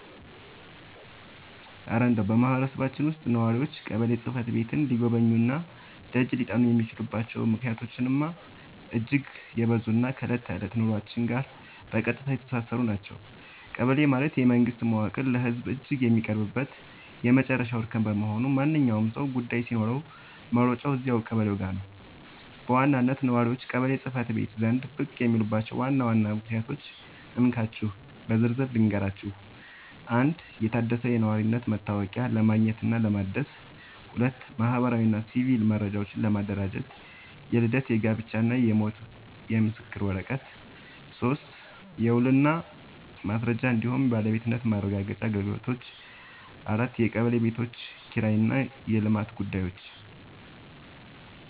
እረ እንደው በማህበረሰባችን ውስጥ ነዋሪዎች ቀበሌ ጽሕፈት ቤትን ሊጎበኙና ደጅ ሊጠኑ የሚችሉባቸው ምክንያቶችማ እጅግ የበዙና ከዕለት ተዕለት ኑሯችን ጋር በቀጥታ የተሳሰሩ ናቸው! ቀበሌ ማለት የመንግስት መዋቅር ለህዝቡ እጅግ የሚቀርብበት የመጨረሻው እርከን በመሆኑ፣ ማንኛውም ሰው ጉዳይ ሲኖረው መሮጫው እዚያው ቀበሌው ጋ ነው። በዋናነት ነዋሪዎች ቀበሌ ጽ/ቤት ዘንድ ብቅ የሚሉባቸውን ዋና ዋና ምክንያቶች እንካችሁ በዝርዝር ልንገራችሁ፦ 1. የታደሰ የነዋሪነት መታወቂያ ለማግኘትና ለማደስ 2. ማህበራዊና ሲቪል መረጃዎችን ለማደራጀት (የልደት፣ የጋብቻና የሞት ምስክር ወረቀት) 3. የውልና ማስረጃ እንዲሁም የባለቤትነት ማረጋገጫ አገልግሎቶች 4. የቀበሌ ቤቶች ኪራይና የልማት ጉዳዮች